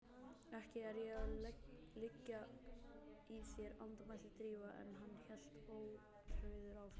Ekki er ég að liggja í þér- andmælti Drífa en hann hélt ótrauður áfram